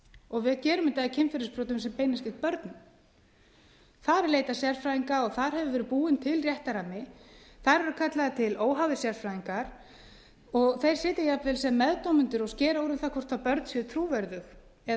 og við gerum þetta í kynferðisbrotum sem beinast gegn börnum þar er leitað sérfræðinga og þar hefur verið búinn til réttarrammi þar eru kallaðir til óháðir sérfræðingar og þeir sitja jafnvel sem meðdómendur og skera úr um það hvort börn séu trúverðug eða